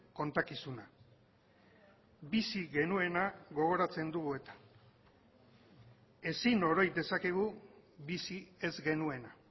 kontakizuna bizi genuena gogoratzen dugu eta ezin oroi dezakegu bizi ez genuena